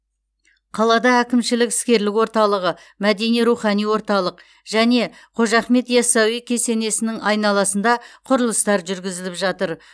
қалада әкімшілік іскерлік орталығы мәдени рухани орталық және қожа ахмет ясауи кесенесінің айналысында құрылыстар жүргізіліп жатыр